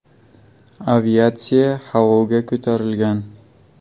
Aviatsiya havoga ko‘tarilgan.